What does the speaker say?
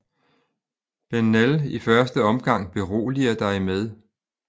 Bennell i første omgang beroliger dig med